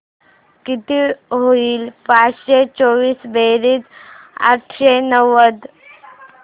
किती होईल पाचशे चोवीस बेरीज आठशे नव्वद